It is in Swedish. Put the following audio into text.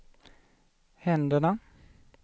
händerna